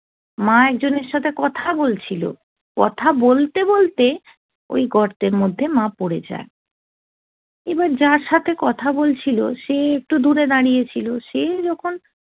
মা একজনের সাথে কথা বলছিল কথা বলতে বলতে ওই গর্তের মধ্যে মা পড়ে যায় এবার যার সাথে কথা বলছিল সে একটু দূরে দাঁড়িয়ে ছিল সে যখন